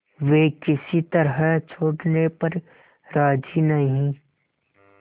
वे किसी तरह छोड़ने पर राजी नहीं